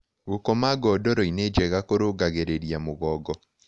Gũkoma godoroĩnĩ njega kũrũngagĩrĩrĩa mũgongo